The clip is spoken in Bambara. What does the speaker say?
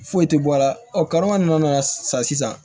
Foyi tɛ bɔ a la ɔ karima ninnu nana sa sisan